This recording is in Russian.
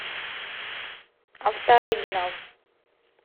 автооригинал